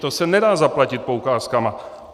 To se nedá zaplatit poukázkami.